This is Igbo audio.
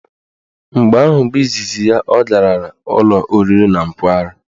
Mgbe ahụ bụ izizi ya ọ garala ụlọ oriri na nkwari.